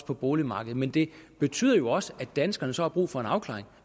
på boligmarkedet men det betyder også at danskerne så har brug for en afklaring